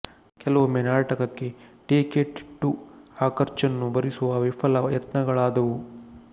ಕೆಲವೊಮ್ಮೆ ನಾಟಕಕ್ಕೆ ಟಿಕೆಟಿಟ್ಟು ಆ ಖರ್ಚನ್ನು ಭರಿಸುವ ವಿಫಲ ಯತ್ನಗಳಾದವು